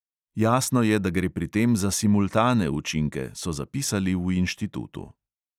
Jasno je, da gre pri tem za simultane učinke, so zapisali v inštitutu.